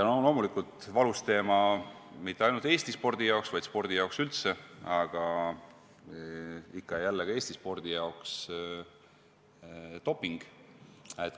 Loomulikult on valus teema – mitte ainult Eesti spordi jaoks, vaid spordi jaoks üldse, aga ikka ja jälle ka Eesti spordi jaoks – doping.